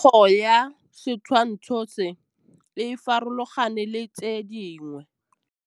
Popêgo ya setshwantshô se, e farologane le tse dingwe.